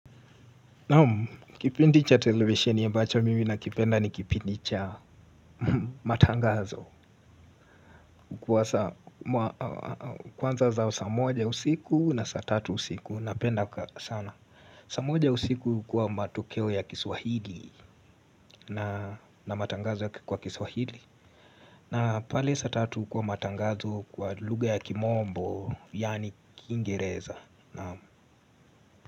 Naam, kipindi cha televisheni ya mbacho mimi na kipenda ni kipindi cha matangazo. Kwanza za saa moja usiku na saa tatu usiku napenda sana. Saa moja usiku kwa matokeo ya kiswahili na matangazo yake kwa kiswahili na pale saa tatu kwa matangazo kwa lugha ya kimombo, yani kingereza Nam.